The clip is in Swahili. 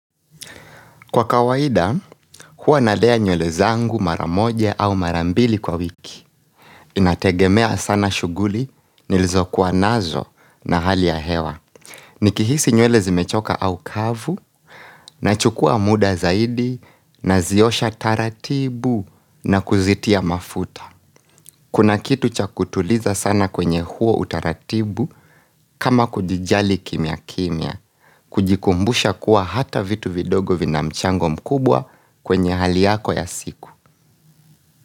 Kwa kawaida, hua nalea nywele zangu mara moja au mara mbili kwa wiki. Inategemea sana shughuli, nilizo kuwa nazo na hali ya hewa. Nikihisi nywele zimechoka au kavu, nachukua muda zaidi, naziosha taratibu na kuzitia mafuta. Kuna kitu cha kutuliza sana kwenye huo utaratibu kama kujijali kimya kimya. Kujikumbusha kuwa hata vitu vidogo vina mchango mkubwa kwenye hali yako ya siku.